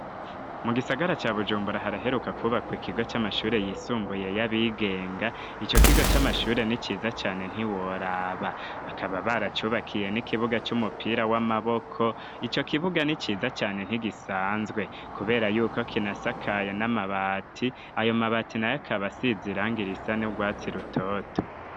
Mu gisagara ca bujumbura haraheruka kubakwa ikigo c'amashuri yisumbuye y'abigenga, ico kigo c'amashure n'iciza cane ntiworaba, bakaba baracubakiye n'ikibuga c'umupira w'amaboko, ico kibuga ni ciza cane ntigisanzwe kubera yuko kinasakaye n'amabati, ayo mabati nayo akaba asize irangi risa nurwatsi rutoto.